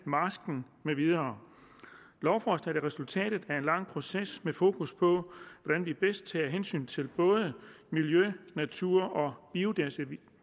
marsken med videre lovforslaget er resultatet af en lang proces med fokus på hvordan vi bedst tager hensyn til både miljø natur og biodiversitet